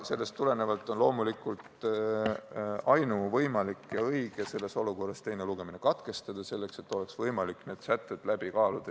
Selles olukorras on loomulikult ainuvõimalik ja õige teine lugemine katkestada, et need sätted oleks võimalik läbi arutada.